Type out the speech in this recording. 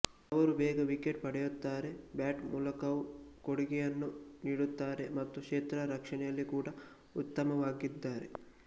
ಅವರು ಬೇಗ ವಿಕೆಟ್ ಪಡೆಯುತ್ತಾರೆ ಬ್ಯಾಟ್ ಮೂಲಕವೂ ಕೊಡುಗೆಯನ್ನು ನೀಡುತ್ತಾರೆ ಮತ್ತು ಕ್ಷೇತ್ರ ರಕ್ಷಣೆಯಲ್ಲಿ ಕೂಡ ಉತ್ತಮವಾಗಿದ್ದಾರೆ